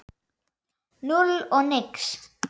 Núll og nix.